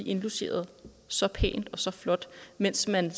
indlogeret så pænt og så flot mens man